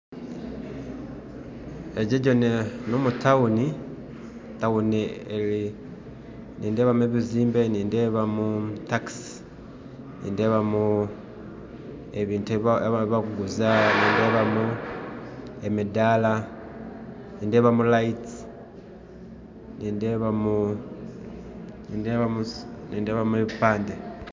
Egi n'etawuni nindebamu ebizimbe, nindebamu takisi, nindebamu ebintu ebibakuguza, nindebamu emidaara, nindebamu amataara, nindebamu ebipande